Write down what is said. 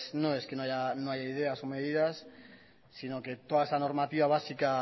no es que no haya ideas o medidas sino que toda esa normativa básica